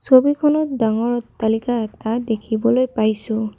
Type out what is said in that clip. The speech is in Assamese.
ছবিখনত ডাঙৰ অট্টালিকা এটা দেখিবলৈ পাইছোঁ।